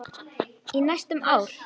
Í næstum ár.